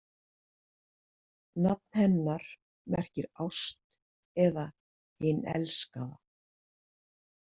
Nafn hennar merkir ást eða hin elskaða.